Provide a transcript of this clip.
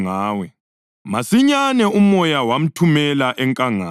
Masinyane uMoya wamthumela enkangala,